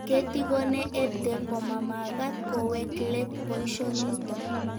Ketikone EdTech komamagat kowek let poisho nitok